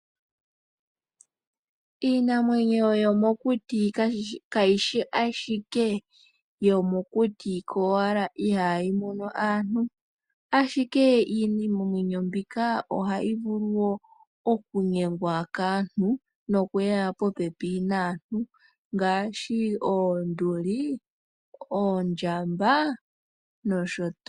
Iinamwenyo yomokuti kayishi ashike iinamwenyo yomokuti kowala ihaayi mono aantu, ashike iinamwenyo mbika ohayi vulu oku gumwa kaantu nokuya po pepi naantu ngaashi oonduli, oondjamba nosho tuu.